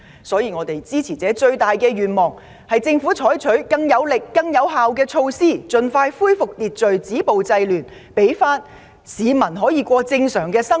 所以，我們的支持者最希望政府採取更有力、更有效的措施，盡快恢復秩序，止暴制亂，讓市民得以重過正常生活。